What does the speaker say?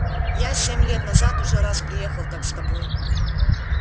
я семь лет назад уже раз приехал так с тобой